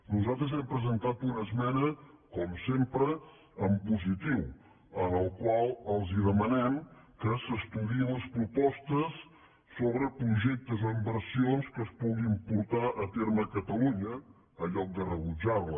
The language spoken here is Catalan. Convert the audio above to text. nosaltres hem presentat una esmena com sempre en positiu en la qual els demanem que s’estudiïn les propostes sobre projectes o inversions que es puguin portar a terme a catalunya en lloc de rebutjar la